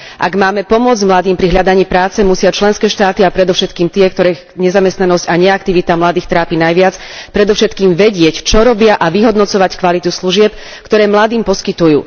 Ak máme pomôcť mladým pri hľadaní práce, musia členské štáty a predovšetkým tie, ktoré nezamestnanosť a neaktivita mladých trápi najviac, predovšetkým vedieť, čo robia a vyhodnocovať kvalitu služieb, ktoré mladým poskytujú.